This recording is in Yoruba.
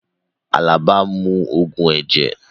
Alaba n mu ogun ẹjẹ